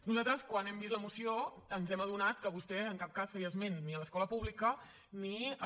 nosaltres quan hem vist la moció ens hem adonat que vostè en cap cas feia esment ni de l’escola pública ni de